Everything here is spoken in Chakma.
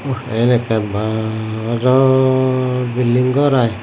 oh iyen ekkan baa ojol bilding gor i.